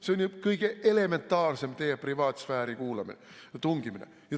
See on kõige elementaarsem teie privaatsfääri tungimine.